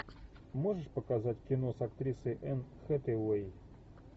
можешь показать кино с актрисой энн хэтэуэй